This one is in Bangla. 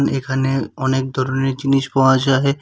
এখানে অনেক ধরনের জিনিস পাওয়া যায়।